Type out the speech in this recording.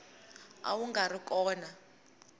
a wu nga ri kona